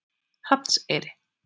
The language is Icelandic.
Hrafnseyri